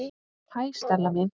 Hæ, Stella mín.